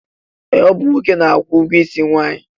Ee, ọ bụ nwoke na-akwụ ụgwọisi nwaanyị